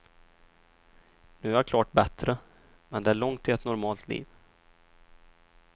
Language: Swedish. Nu är jag klart bättre, men det är långt till ett normalt liv.